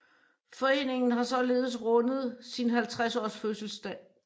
Foreningen har således rundet sin 50 års fødselsdag